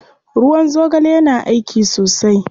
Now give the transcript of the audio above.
Ruwan zogale yana aiki sosai.